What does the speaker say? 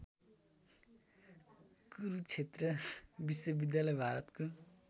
कुरुक्षेत्र विश्वविद्यालय भारतको